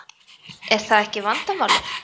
Er það ekki vandamálið?